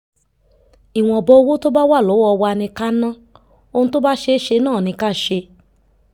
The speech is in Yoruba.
ìwọ̀nba owó tó bá wà lọ́wọ́ wa ni ká ná ohun tó bá ṣeé ṣe náà ni ká ṣe